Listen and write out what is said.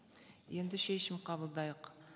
енді шешім қабылдайық